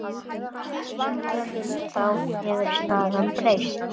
Síðan þá hefur staðan breyst.